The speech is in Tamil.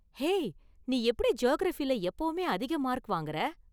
ஹேய், நீ எப்படி ஜியாகிரஃபில எப்போவுமே அதிக மார்க் வாங்கற?